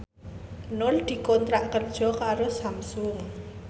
Nur dikontrak kerja karo Samsung